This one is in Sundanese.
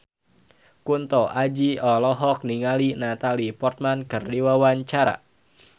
Kunto Aji olohok ningali Natalie Portman keur diwawancara